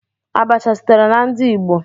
Abacha sitere na ndi igbo.